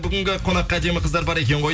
бүгінгі қонаққа әдемі қыздар бар екен ғой